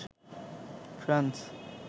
France